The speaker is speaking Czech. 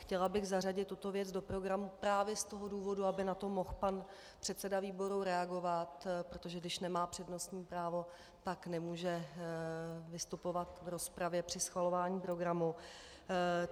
Chtěla bych zařadit tuto věc do programu právě z toho důvodu, aby na to mohl pan předseda výboru reagovat, protože když nemá přednostní právo, tak nemůže vystupovat v rozpravě při schvalování programu.